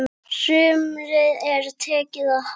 Sumri er tekið að halla.